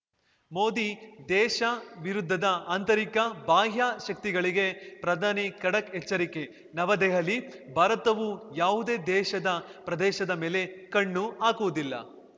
ಮೋದಿ ದೇಶ ವಿರುದ್ಧದ ಆಂತರಿಕ ಬಾಹ್ಯ ಶಕ್ತಿಗಳಿಗೆ ಪ್ರಧಾನಿ ಖಡಕ್‌ ಎಚ್ಚರಿಕೆ ನವದೆಹಲಿ ಭಾರತವು ಯಾವುದೇ ದೇಶದ ಪ್ರದೇಶದ ಮೇಲೆ ಕಣ್ಣು ಹಾಕುವುದಿಲ್ಲ